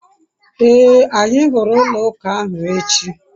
ee, anyi huru ulo uka ahu echi